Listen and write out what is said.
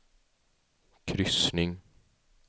kryssning